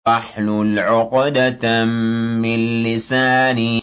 وَاحْلُلْ عُقْدَةً مِّن لِّسَانِي